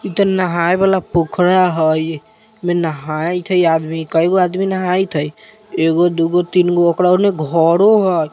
इ ता नहाय वाला पोखरा हई अइमे मे नाहीत हई आदमी कईगो आदमी नहाईत हई एगो-दोगु-तिनगु ओकरा ओने घरो हई।